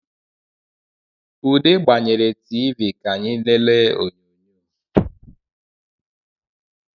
Ude gbanyere TV ka anyị lele onyọnyọ